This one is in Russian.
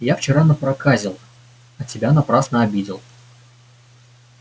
я вчера напроказил а тебя напрасно обидел